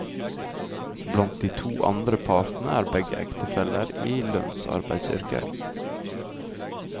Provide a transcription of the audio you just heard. Blant de to andre parene er begge ektefellene i lønnsarbeideryrker.